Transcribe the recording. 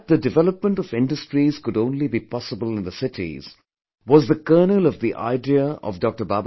That the development of industries could only be possible in the cities, was the kernel of the idea of Dr